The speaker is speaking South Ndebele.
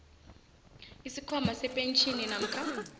isikhwama sepentjhini namkha